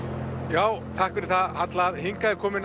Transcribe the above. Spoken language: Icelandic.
já takk fyrir það Halla hingað er komin